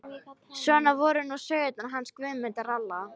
Svona voru nú sögurnar hans Guðmundar ralla.